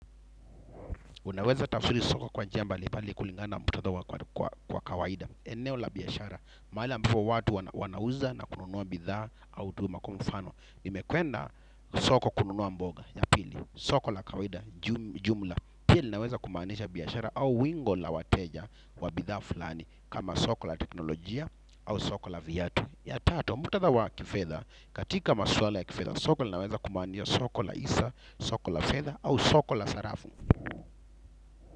Unaweza tafsiri soko kwa njia mbalimbali kulingana na muktadha kwa kawaida. Eneo la biashara, mahali ambapo watu wanauza na kununua bidhaa au huduma kwa mfano. Nimekwenda soko kununua mboga, ya pili, soko la kawaida, jumla. Pia linaweza kumaanisha biashara au wingo la wateja wa bidhaa fulani, kama soko la teknolojia au soko la vyatu. Ya tatu, muktadha wa kifedha, katika maswala ya kifedha, soko linaweza kumaanisha soko la hisa, soko la fedha au soko la sarafu.